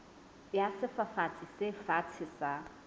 ya sefafatsi se fatshe sa